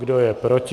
Kdo je proti?